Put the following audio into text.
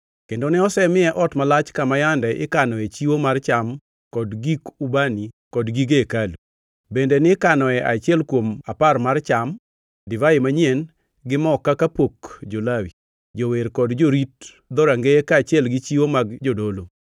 kendo ne osemiye ot malach kama yande ikanoe chiwo mar cham kod gik ubani kod gige hekalu, bende nikanoe achiel kuom apar mar cham, divai manyien gi mo kaka pok jo-Lawi, jower kod jorit dhorangeye, kaachiel gi chiwo mag jodolo.